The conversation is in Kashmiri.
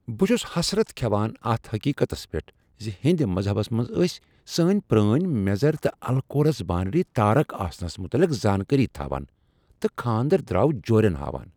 بہٕ چھس حسرت کھیوان اتھ حقیقتس پیٹھ ز ہیٚندۍ مذہبس منٛز ٲسۍ سٲنۍ پرٲنۍ میزر تہٕ الکورس باینری تارک آسنس متعلق زانکٲری تھاوان تہٕ کھاندرٕ دراو جورین ہاوان۔